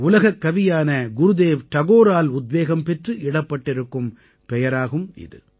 உலகக்கவியான குருதேவ் டகோரால் உத்வேகம் பெற்று இடப்பட்டிருக்கும் பெயராகும் இது